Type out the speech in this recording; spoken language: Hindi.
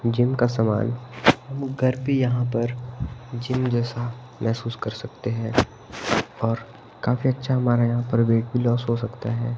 जिम का समान हम घर पे यहां पर जिम जैसा महसूस कर सकते हैं और काफी अच्छा हमारा यहां पर वेट भी लॉस हो सकता है।